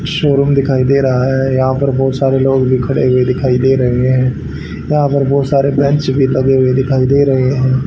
Showroom दिखाई दे रहा है यहां पर बहुत सारे लोग भी खड़े हुए दिखाई दे रहे हैं यहां पर बहुत बेंच भी लगे हुए दिखाई दे रहे हैं।